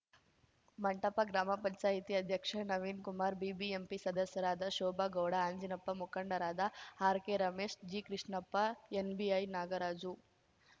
ಮಂಟಪ ಗ್ರಾಮಪಂಚಾಯ್ತಿ ಅಧ್ಯಕ್ಷ ನವೀನ್‌ ಕುಮಾರ್‌ ಬಿಬಿಎಂಪಿ ಸದಸ್ಯರಾದ ಶೋಭಾಗೌಡ ಆಂಜಿನಪ್ಪ ಮುಖಂಡರಾದ ಆರ್‌ಕೆರಮೇಶ್‌ ಜಿಕೃಷ್ಣಪ್ಪ ಎನ್‌ಬಿಐ ನಾಗರಾಜು